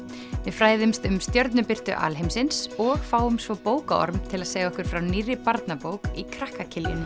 fræðumst um stjörnubirtu alheimsins og fáum svo bókaorm til að segja okkur frá nýrri barnabók í krakka